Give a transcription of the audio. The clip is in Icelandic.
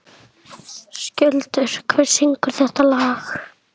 Skjöldur, hver syngur þetta lag?